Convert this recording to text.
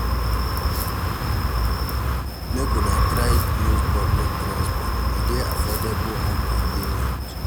Make una dey try use public transport, e dey affordable and convenient.